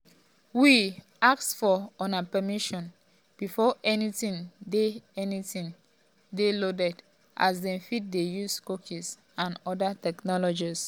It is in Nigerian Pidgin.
we um ask for una permission before anytin dey anytin dey loaded as um dem fit dey use cookies and oda technologies.